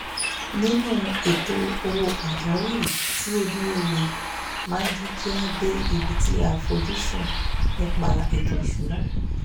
níní ètò owó pàjáwìrì tí ó dúró rẹ máa jẹ́ kí á dé ibi tí à á fojúsùn nípa ètò ìṣúná